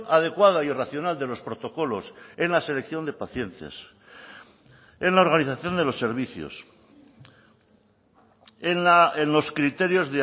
adecuada y racional de los protocolos en la selección de pacientes en la organización de los servicios en los criterios